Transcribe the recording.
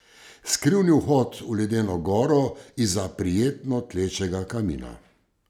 Skrivni vhod v ledeno goro izza prijetno tlečega kamina.